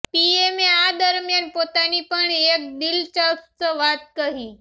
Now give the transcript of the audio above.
પીએમે આ દરમ્યાન પોતાની પણ એક દિલચસ્પ વાત કહી